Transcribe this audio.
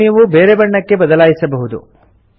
ಇದನ್ನು ನೀವು ಬೇರೆ ಬಣ್ಣಕ್ಕೆ ಬದಲಾಯಿಸಬಹುದು